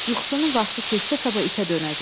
Yuxusunun vaxtı keçsə sabah itə dönəcək.